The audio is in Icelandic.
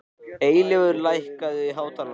Eilífur, lækkaðu í hátalaranum.